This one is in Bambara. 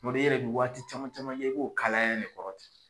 Tuma dɔ la i yɛrɛ de bɛ waati caman caman ye i b'o kalaya ni kɔrɔ ten.